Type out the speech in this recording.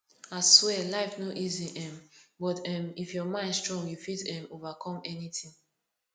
aswear life no easy um but um if your mind strong you fit um overcome anything